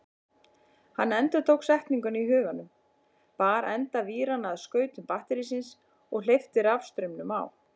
Hann endurtók setninguna í huganum, bar enda víranna að skautum batterísins og hleypti rafstraumnum á.